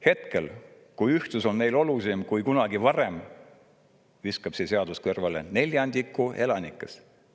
Hetkel, kui ühtsus on meile olulisem kui kunagi varem, viskab see seadus kõrvale neljandiku elanikest.